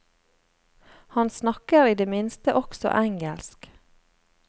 Han snakker i det minste også engelsk.